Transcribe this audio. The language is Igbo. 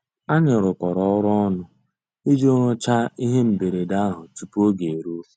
Ànyị́ rụ́kọ̀rọ́ ọ́rụ́ ọnụ́ ìjì rụ́cháá íhé mbérèdé àhụ́ túpú ògé èrúó.